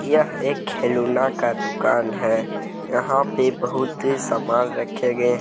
यह एक खेलौना का दुकान है यहां पे बहुत सामान रखे गए हैं।